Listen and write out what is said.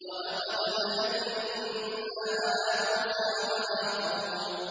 وَلَقَدْ مَنَنَّا عَلَىٰ مُوسَىٰ وَهَارُونَ